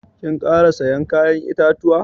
Kin kara siyan ya'yan itatuwa?